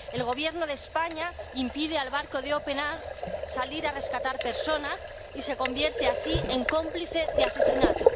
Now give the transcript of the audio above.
El Gobierno de España impide al barco de Open Arms salir a rescatar personas y se convierte así en cómplice de asesinato.